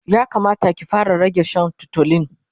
ya Kamata ki fara rage Shan tutolin